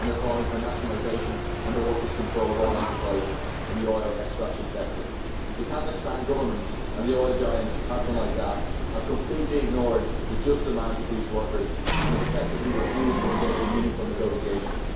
and they are calling for nationalisation, under workers' control, of all enterprises in the oil extraction sector. The Kazakhstan Government and the oil giant Kazmunaigaz have completely ignored the just demands of these workers and have effectively refused to engage in meaningful negotiations.